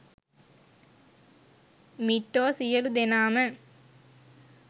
මිට්ටෝ සියලු දෙනාම